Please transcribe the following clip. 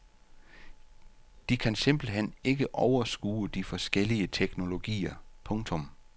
De kan simpelt hen ikke overskue de forskellige teknologier. punktum